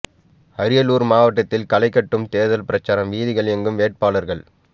அரியலூர் மாவட்டத்தில் களை கட்டும் தேர்தல் பிரசாரம் வீதிகள் எங்கும் வேட்பாளர்கள்